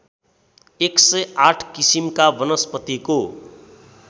१०८ किसिमका वनस्पतिको